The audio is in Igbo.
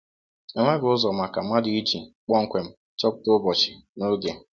Enweghị ụzọ maka mmadụ iji kpọmkwem chọpụta ụbọchị na oge.